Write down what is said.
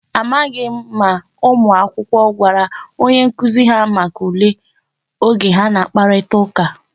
Amaghị ma ụmụ akwụkwọ gwara onye nkụzi ha maka ule, oge ha na-akparịta ụka.